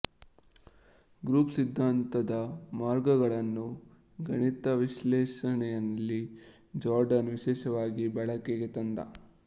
group ಸಿದ್ಧಾಂತದ ಮಾರ್ಗಗಳನ್ನು ಗಣಿತ ವಿಶ್ಲೇಷಣೆಯಲ್ಲಿ ಜಾರ್ಡನ್ ವಿಶೇಷವಾಗಿ ಬಳಕೆಗೆ ತಂದ